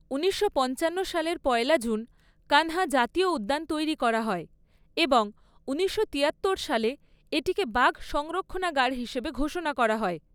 ঊনিশশো পঞ্চান্ন সালের পয়লা জুন কান্হা জাতীয় উদ্যান তৈরি করা হয় এবং ঊনিশশো তিয়াত্তর সালে এটিকে বাঘ সংরক্ষণাগার হিসেবে ঘোষণা করা হয়।